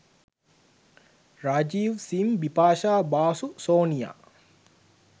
Rajiv Singh Bipasha Basu Sonia